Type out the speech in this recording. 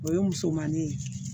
O ye musomannin ye